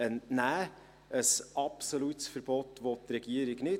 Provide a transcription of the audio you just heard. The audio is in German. Ein absolutes Verbot möchte die Regierung nicht.